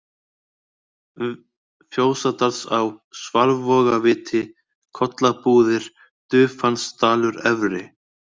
v Fjósadalsá, Svalvogaviti, Kollabúðir, Dufansdalur-Efri